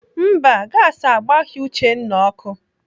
Mba, gasi agbaghị Uchenna ọkụ.